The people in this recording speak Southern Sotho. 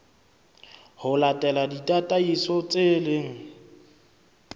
ho latela ditataiso tse leng